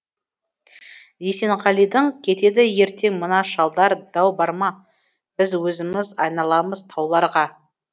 есенғалидің кетеді ертең мына шалдар дау бар ма біз өзіміз айналамыз тауларға